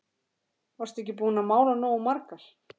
Varstu ekki búin að mála nógu margar?